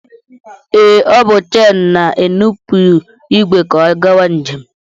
Ee, ọ bụ chen na-enupụ ìgwè ka ọ gawa njem